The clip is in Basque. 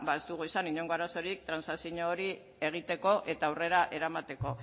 ez dugu izan inongo arazorik trantsazio hori egiteko eta aurrera eramateko